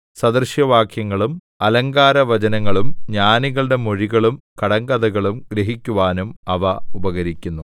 സദൃശവാക്യങ്ങളും അലങ്കാരവചനങ്ങളും ജ്ഞാനികളുടെ മൊഴികളും കടങ്കഥകളും ഗ്രഹിക്കുവാനും അവ ഉപകരിക്കുന്നു